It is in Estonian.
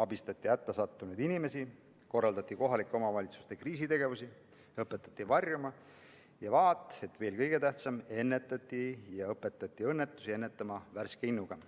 abistati hätta sattunud inimesi, korraldati kohalike omavalitsuste kriisitegevusi, õpetati varjuma ning – vaat, et veel kõige tähtsam – ennetati ja õpetati õnnetusi ennetama värske innuga.